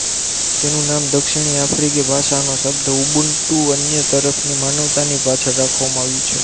તેનું નામ દક્ષીણી આફ્રિકી ભાષાનો શબ્દ ઊબુન્ટુ અન્ય તરફની માનવતા ની પાછળ રાખવામાં આવ્યું છે